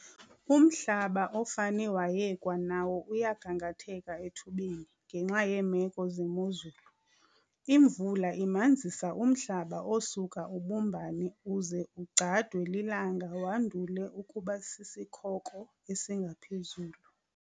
Umhlaba ofane wayekwa nawo uyagangatheka ethubeni ngenxa yeemeko zemozulu. Imvula imanzisa umhlaba osuka ubumbane uze ugcadwe lilanga wandule ukuba sisikhoko esingaphezulu.